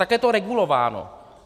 Takhle je to regulováno.